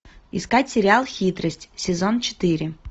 искать сериал хитрость сезон четыре